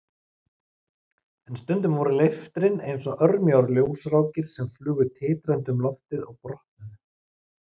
En stundum voru leiftrin eins og örmjóar ljósrákir sem flugu titrandi um loftið og brotnuðu.